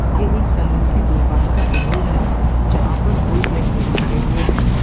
ये एक सैलून के दुकान का इमेज है जहां पे दो व्यक्ति खड़े हुए हैं।